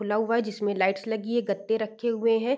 खुला हुआ है जिसमें लाइट्स लगी है गते रखे हुए हैं।